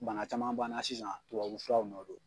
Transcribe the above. Bana caman b'an na sisan tubabu furaw nɔ don.